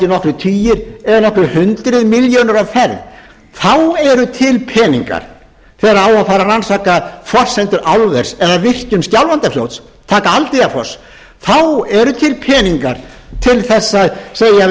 nokkrir tugir eða nokkur hundruð milljóna á ferð þá eru til peningar þegar á að fara rannsaka forsendur álvers eða virkjun skjálfandafljóts taka aldeyjarfoss þá eru til peningar til að segja við